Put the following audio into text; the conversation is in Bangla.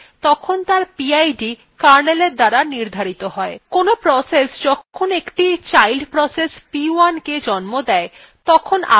কোনো process যখন একটি child process p1 the জন্ম দেয় তখন আগের processএর pid p1 processএর ppid হয়